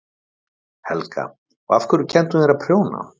Helga: Og af hverju kenndi hún þér að prjóna?